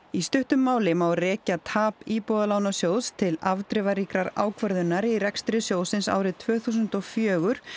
í stuttu máli má rekja tap Íbúðalánasjóðs til ákvörðunar í rekstri sjóðsins árið tvö þúsund og fjögur